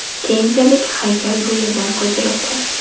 Keyinchalik haykal bu yerdan ko‘chirildi.